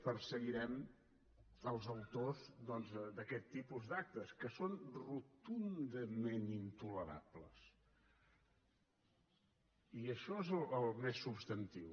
perseguirem els autors doncs d’aquest tipus d’actes que són rotundament intolerables i això és el més substantiu